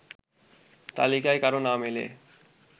তালিকায় কারো নাম এলে